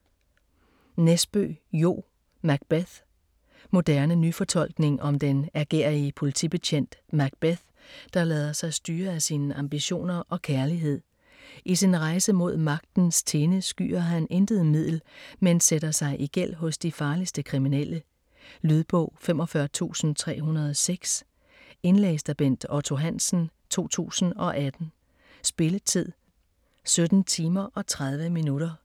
Nesbø, Jo: Macbeth Moderne nyfortolkning om den ærgerrige politibetjent Macbeth, der lader sig styre af sine ambitioner og kærlighed. I sin rejse mod magtens tinde skyer han intet middel, men sætter sig i gæld hos de farligste kriminelle. Lydbog 45306 Indlæst af Bent Otto Hansen, 2018. Spilletid: 17 timer, 30 minutter.